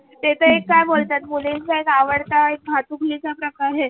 ते त एक का बोलतात मुलींचा एक आवडता भातुकलीचा प्रकार आहे.